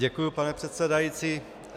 Děkuji, pane předsedající.